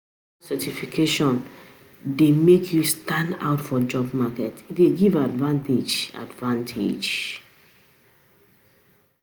Professional certification dey make you stand out for job market, e dey give advantage. advantage.